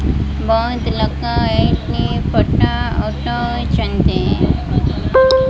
ବୋହୁତ ଲୋକୋ ଏଇଠି ଫଟୋ ଉଠୋଉଚନ୍ତି।